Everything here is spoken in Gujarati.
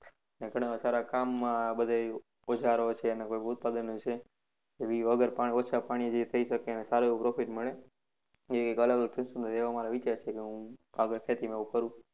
અને ઘણા સારા કામમાં બધે ઓજારો છે અને કોઈ ઉત્પાદન એવી વગર પાણી ઓછા પાણીએ જે થઇ શકે અને સારૃં એવું profit મળે. એવી એવા મારા વિચાર છે. એટલે હું આગળ ખેતીમાં એવું કરું.